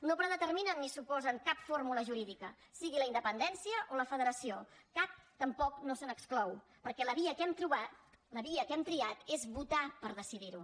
no predeterminen ni suposen cap fórmula jurídica sigui la independència o la federació cap tampoc no se n’exclou perquè la via que hem trobat la via que hem triat és votar per decidir ho